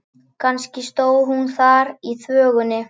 Kannski stóð hún þar í þvögunni.